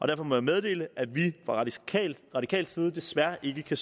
derfor må jeg meddele at vi fra radikal side desværre ikke kan